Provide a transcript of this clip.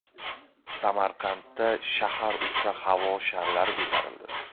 Samarqandda shahar uzra havo sharlari ko‘tarildi .